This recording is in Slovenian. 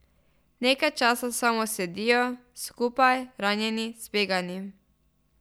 Nekaj časa samo sedijo, skupaj, ranjeni, zbegani.